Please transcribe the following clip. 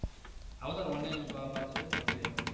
Avatar one என்ன ப~ பார்த்திருக்கியா பார்க்கலையா